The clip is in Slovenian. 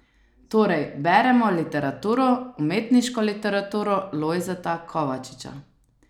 Torej beremo literaturo, umetniško literaturo Lojzeta Kovačiča.